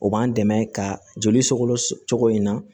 O b'an dɛmɛ ka joli sokolo tɔgɔ in na